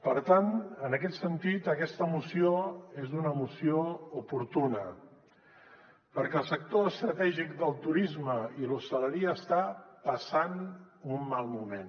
per tant en aquest sentit aquesta moció és una moció oportuna perquè el sector estratègic del turisme i l’hostaleria està passant un mal moment